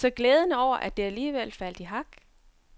Så glæden over, at det alligevel faldt i hak.